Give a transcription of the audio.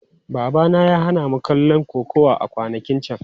Babana ya hana mu kallon kokawa a kwanakin can.